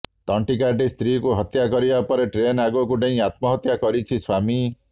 ତଣ୍ଟିକାଟି ସ୍ତ୍ରୀକୁ ହତ୍ୟା କରିବା ପରେ ଟ୍ରେନ୍ ଆଗକୁ ଡେଇଁ ଆତ୍ମହତ୍ୟା କରିଛି ସ୍ବାମୀ